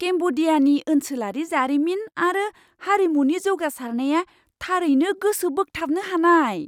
केम्ब'डियानि ओनसोलारि जारिमिन आरो हारिमुनि जौगासारनाया थारैनो गोसो बोगथाबनो हानाय!